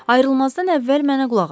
Ayrılmazdan əvvəl mənə qulaq asın.